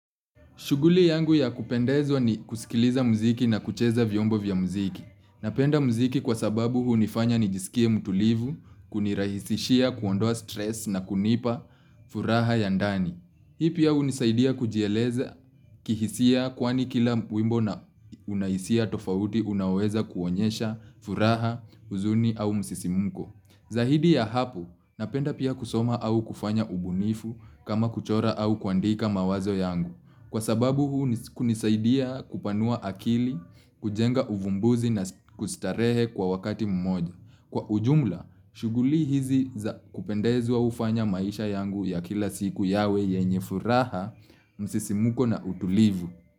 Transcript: Shughuli yangu ya kupendezwa ni kusikiliza mziki na kucheza vyombo vya mziki. Napenda mziki kwa sababu hunifanya nijisikie mtulivu, kunirahisishia, kuondoa stress na kunipa furaha ya ndani. Hii pia hunisaidia kujieleza kihisia kwani kila wimbo na unahisia tofauti unaoweza kuonyesha furaha, huzuni au msisimko. Zaidi ya hapo, napenda pia kusoma au kufanya ubunifu kama kuchora au kuandika mawazo yangu. Kwa sababu huu kunisaidia kupanua akili, kujenga uvumbuzi na kustarehe kwa wakati mmoja. Kwa ujumla, shughuli hizi za kupendezwa hufanya maisha yangu ya kila siku yawe yenye furaha, msisimko na utulivu.